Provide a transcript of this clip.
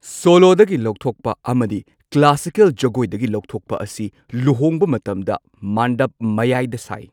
Solo ꯗꯒꯤ ꯂꯧꯊꯣꯛꯄ ꯑꯃꯗꯤ ꯀ꯭ꯂꯥꯁꯤꯀꯦꯜ ꯖꯒꯣꯏꯗꯒꯤ ꯂꯧꯊꯣꯛꯄ ꯑꯁꯤ ꯂꯨꯍꯣꯡꯕ ꯃꯇꯝꯗ ꯃꯥꯟꯗꯞ ꯃꯌꯥꯏꯗ ꯁꯥꯏ꯫